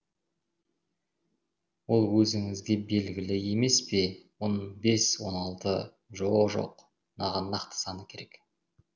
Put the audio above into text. ол өзіңізге белгілі емес пе он бес он алты жо жоқ маған нақты саны керек